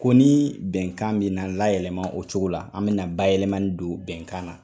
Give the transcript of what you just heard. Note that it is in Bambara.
Ko ni bɛnkan bɛ na layɛlɛma o cogo la, an bɛna bayɛlɛmani don bɛnkan na.